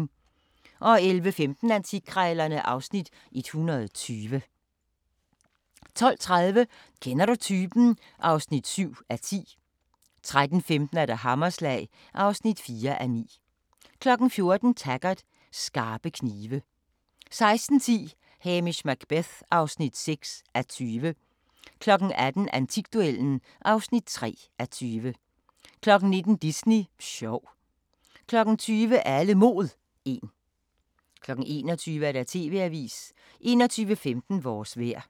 11:15: Antikkrejlerne (Afs. 120) 12:30: Kender du typen? (7:10) 13:15: Hammerslag (4:9) 14:00: Taggart: Skarpe knive 16:10: Hamish Macbeth (6:20) 18:00: Antikduellen (3:20) 19:00: Disney sjov 20:00: Alle Mod 1 21:00: TV-avisen 21:15: Vores vejr